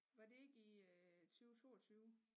Var det ikke i øh 20 22